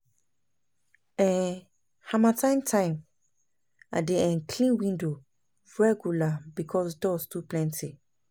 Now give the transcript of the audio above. um Harmattan time, I dey um clean window regular because dust too plenty.